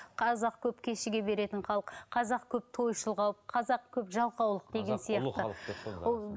қазақ көп кешіге беретін халық қазақ көп тойшыл халық қазақ көп жалқаулық деген сияқты